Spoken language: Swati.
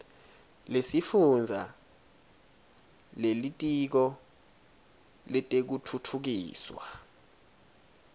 lesifundza lelitiko letekutfutfukiswa